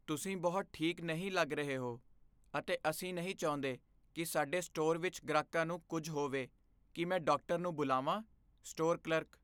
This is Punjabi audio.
ਤੁਸੀਂ ਬਹੁਤ ਠੀਕ ਨਹੀਂ ਲੱਗ ਰਹੇ ਹੋ ਅਤੇ ਅਸੀਂ ਨਹੀਂ ਚਾਹੁੰਦੇ ਕੀ ਸਾਡੇ ਸਟੋਰ ਵਿੱਚ ਗ੍ਰਾਹਕਾਂ ਨੂੰ ਕੁੱਝ ਹੋਵੇ ਕੀ ਮੈਂ ਡਾਕਟਰ ਨੂੰ ਬੁਲਾਵਾਂ? Store clerk